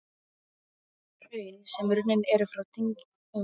Hraun, sem runnin eru frá dyngjum, eru ávallt helluhraun.